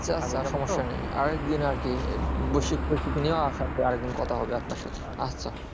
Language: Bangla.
আচ্ছা আচ্ছা সমস্যা নেই আর এক দিন আর কি বসি আর এক দিন কথা হবে আপনার সাথে আচ্ছা